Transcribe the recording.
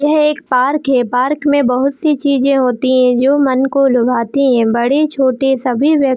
यह एक पार्क है पार्क में बहोत सी चीजे होती है जो मन को लुभाती है बड़े छोटे सभी व्यक्ति--